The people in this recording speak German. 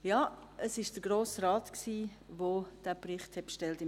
Ja, es war der Grosse Rat, der diesen Bericht bestellt hat.